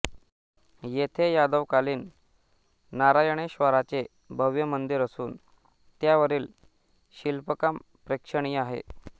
येथे यादवकालीन नारायणेश्वराचे भव्य मंदिर असून त्यावरील शिल्पकाम प्रेक्षणीय आहे